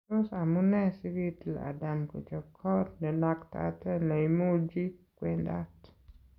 Tos amune sikitiil Adam kochop koot nenaktate neimuchi kwendaat?